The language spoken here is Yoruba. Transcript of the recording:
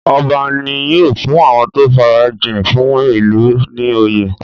Ọba ní́ yóò fún àwọn tó farajìn fún ìlú ní oyè.